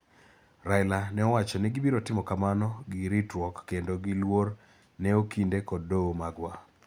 Raila nowacho ni gibiro timo kamano gi ritruok kendo gi luor ne okinde kod doho magwa.